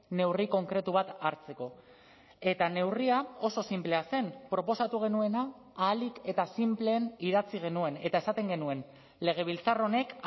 neurri konkretu bat hartzeko eta neurria oso sinplea zen proposatu genuena ahalik eta sinpleen idatzi genuen eta esaten genuen legebiltzar honek